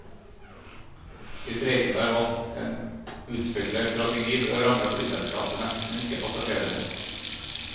De streikende har valgt en utspekulert strategi for å ramme flyselskapene, men ikke passasjerene.